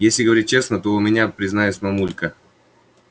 если говорить честно то и у меня призналась мамулька